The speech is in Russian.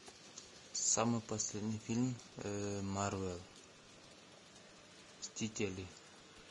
самый последний фильм марвел мстители